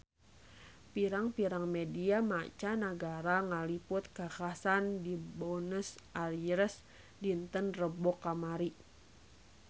Pirang-pirang media mancanagara ngaliput kakhasan di Buenos Aires dinten Rebo kamari